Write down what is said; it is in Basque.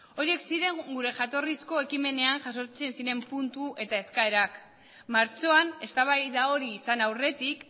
horiek ziren gure jatorrizko ekimenean jasotzen ziren puntu eta eskaerak martxoan eztabaida hori izan aurretik